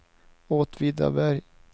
Åtvidaberg